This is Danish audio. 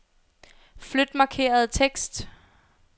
Flyt markerede tekst.